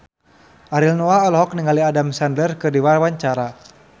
Ariel Noah olohok ningali Adam Sandler keur diwawancara